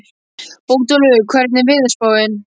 Bótólfur, hvernig er veðurspáin?